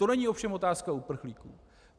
To není ovšem otázka uprchlíků.